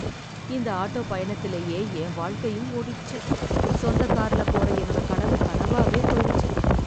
இந்த ஆட்டோ பயணத்துலயே என் வாழ்க்கையும் ஓடிடுச்சு, சொந்த கார்ல போற என்னோட கனவு கனவாவே போயிடுச்சு.